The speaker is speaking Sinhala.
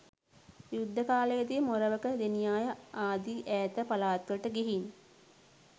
යුද්ධ කාලයේ දී මොරවක, දෙනියාය ආදී ඈත පළාත්වලට ගිහින්